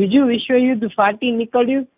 બીજું વિશ્વ યુદ્ધ ફાટી નીકળ્યું